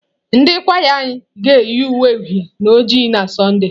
Ndị kwaya anyị ga-eyi uwe uhie na oji n'Sọnde.